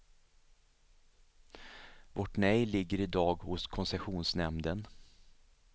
Vårt nej ligger idag hos koncessionsnämnden.